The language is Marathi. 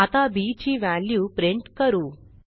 आता बी ची व्हॅल्यू प्रिंट करू